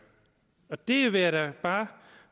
og det vil jeg da bare